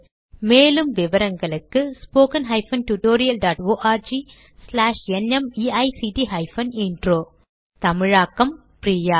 மேலும் விவரங்களுக்கு 1 தமிழாக்கம் பிரியா